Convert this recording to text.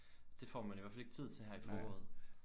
Det får men i hvert fald ikke tid til her i foråret